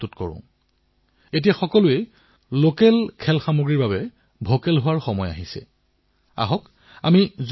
অসহযোগ আন্দোলনৰ যি বীজ ৰোপণ কৰা হৈছিলতাক আত্মনিৰ্ভৰ ভাৰতৰ বট বৃক্ষলৈ পৰিৱৰ্তিত কৰাৰ দায়িত্ব আমাৰ সকলোৰে